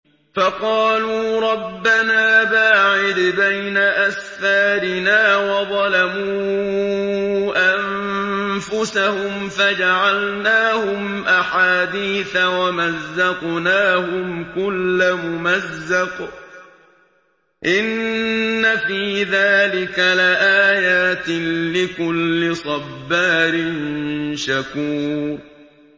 فَقَالُوا رَبَّنَا بَاعِدْ بَيْنَ أَسْفَارِنَا وَظَلَمُوا أَنفُسَهُمْ فَجَعَلْنَاهُمْ أَحَادِيثَ وَمَزَّقْنَاهُمْ كُلَّ مُمَزَّقٍ ۚ إِنَّ فِي ذَٰلِكَ لَآيَاتٍ لِّكُلِّ صَبَّارٍ شَكُورٍ